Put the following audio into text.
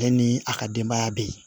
Ale ni a ka denbaya bɛ yen